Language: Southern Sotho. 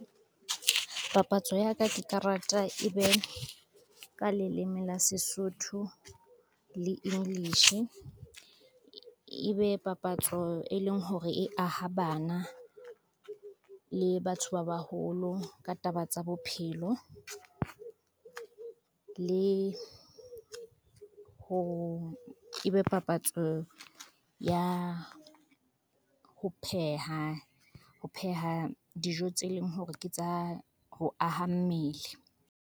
Papatso ya ka ke karata e be, ka leleme la Sesotho le English. E be papatso e leng hore e aha bana le batho ba baholo ka taba tsa bophelo, e be papatso ya ho pheha, ho pheha dijo tse leng hore ke tsa ho aha mmele.